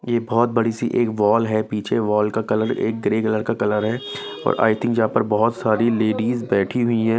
ये बहुत बड़ी सी एक वॉल है पीछे वॉल का कलर एक ग्रे कलर का कलर है और आई थिंक यहां पर बहुत सारी लेडीज बैठी हुई है।